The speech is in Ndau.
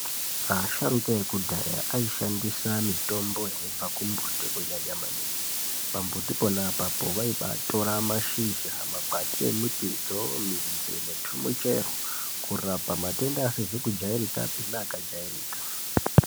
Asharuka ekudhaya aishandisa mitombo yaibva kumbuti kunyanya maningi. Pambuti pona apapo vaibatora mashizha, makwati emutidzo, midzi netumuchero kurapa matenda asizi kujairikapi neakajairika.